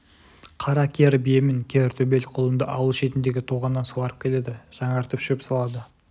қара кер бие мен кер төбел құлынды ауыл шетіндегі тоғаннан суарып келеді жаңартып шөп салады